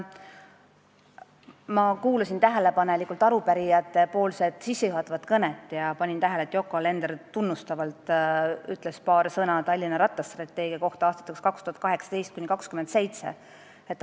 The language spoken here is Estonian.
Ma kuulasin tähelepanelikult arupärijate esindaja sissejuhatavat kõnet ja panin tähele, et Yoko Alender ütles paar tunnustavat sõna Tallinna rattastrateegia kohta aastateks 2018–2027.